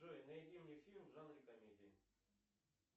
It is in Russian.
джой найди мне фильм в жанре комедии